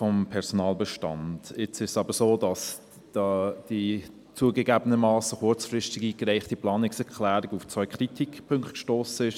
Nun ist es aber so, dass die zugegeben kurzfristig eingereichte Planungserklärung auf zwei Kritikpunkte gestossen ist: